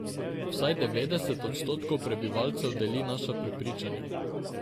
Vsaj devetdeset odstotkov prebivalcev deli naša prepričanja.